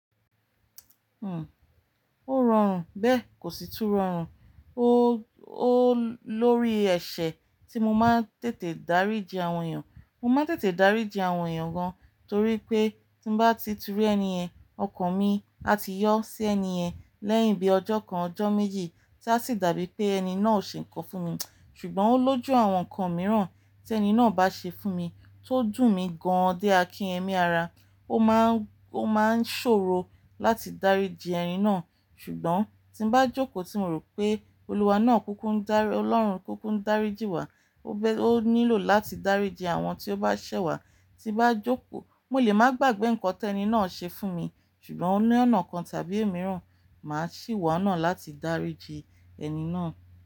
Hmm, ó rọrùn bẹ́ẹ̀ kò sì tún rọrùn. Ó, ó lórí ẹ̀ṣẹ̀ tí mo máa ń tètè dáríji àwọn èèyàn. Mo máa ń tètè dáríji àwọn èèyàn gan, torí pé tí n bá ti tún ri ẹni yẹ̀n, ọkàn mi a ti yọ́ sí ẹni ẹ̀ lẹ́yìn bí ọjọ́ kan, ọjọ́ méjì tí a sì dàbí pé ẹni náà ò ṣe nǹkan fún mi. Ṣùgbọ́n ó lójú àwọn nǹkan mìíràn tí ẹni náà bá ṣe fún mi tó dùn mí gan-an dé akinyemí ara. Ó máa ń, ó máa ń ṣòro láti dáríji ẹni náà, ṣùgbọ́n tí bá jókòó tí mo rò pé olúwa náà kúkú ń dárí, Ọlọ́run kúkú ń dáríji wa, ó bẹ, ó nílò láti dáríji àwọn tí ó bá ṣẹ̀ wá. Tí bá jókòó mo lè má gbàgbé nǹkan tí ẹni náà ṣe fún mi, ṣùgbọ́n oní ọ̀nà kan tàbí omííràn, màá sì wá náà láti dáríji ẹni náà.